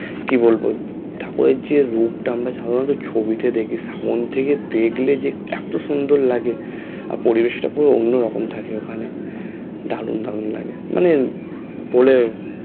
কি বলবো ঠাকুরের যে রূপটা আমরা সাধারণত ছবিতে দেখি সামনে থেকে দেখলে যে এতো সুন্দর লাগে আর পরিবেশটাতো অন্য রকম থাকে ওখানে দারুন দারুন লাগে মানে বলে